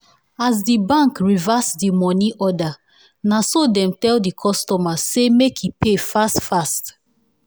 as d bank reverse the money order naso dem tell the customer say make e pay fast fast.